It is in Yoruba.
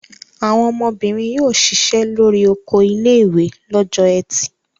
Àwọn ọmọbìnrin yóò ṣiṣẹ́ lórí oko ilé-ìwé lọ́jọ́ ẹtì.